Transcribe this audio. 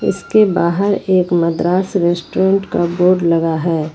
उसके बाहर एक मद्रास रेस्टोरेंट का बोर्ड लगा है।